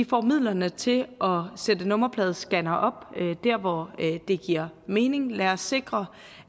får midlerne til at sætte nummerpladescannere op der hvor det giver mening lad os sikre